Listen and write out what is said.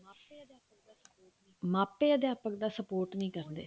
ਮਾਪੇ ਅਧਿਆਪਕ ਦਾ support ਨਹੀਂ ਕਰਦੇ